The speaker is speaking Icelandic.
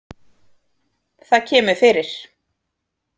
Það kemur fyrir